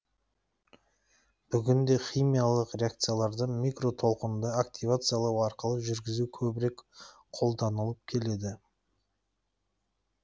бүгін де химиялық реакцияларды микротолқынды активациялау арқылы жүргізу көбірек қолданылып келеді